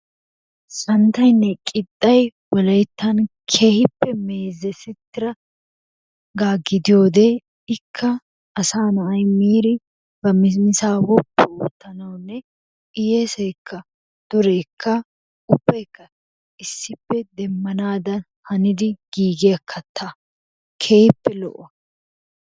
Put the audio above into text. Santtaynne qixxay wolayttan keehiippe mezesitiragaa gidiyoode ikka asaa na'ay miiri ba mismisaa woppu ootanawunne heyeesaykka dureekka ubaykka issippe demmanaadan hanidi giigiya katta keehiippe lo'o.